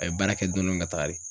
A bɛ baara kɛ dɔɔni dɔɔni ka taga de.